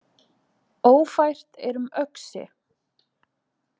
Ófært er um Öxi